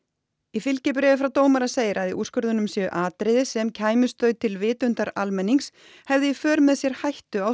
í fylgibréfi frá dómara segir að í úrskurðinum séu atriði sem kæmust þau til vitundar almennings hefðu í för með sér hættu á